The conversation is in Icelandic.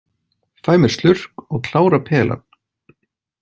Fæ mér slurk og klára pelann.